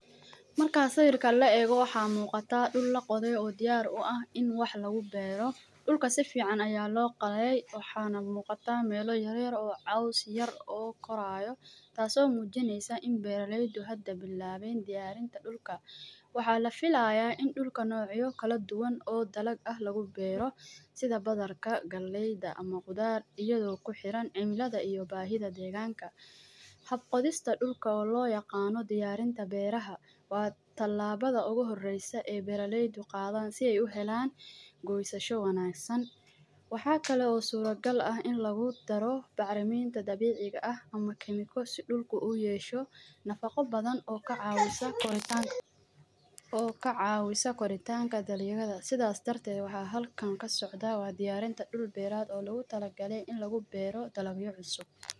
Marka sawirkan la ego waxa muqata dhul laqode oo diyar uu ah in wax lagu beero dhulka sifican aya loqodey waxana muuqata meeloyin yar yar oo coos yar ogakorayo taaso mujineso in beeralaryda diyaarinta dhulka waxa lafiilaya in dhulka nocya kala duwaan oo dalaag ah lagu beero sidha badarka galeyda bulshadda kuxiiran cimilaada iyo bahida deganka hab qodiista dhulka loyaaqano diyaartin miraaha waa talabada ugu horeyso ee beeraleyda qaadan si ey waxa kale oo surreal ah in lagu daaro bacrimida dabiici ah ama yesho nafaca badan oo kacawiso koritaanka sidhas darted halkan kasocda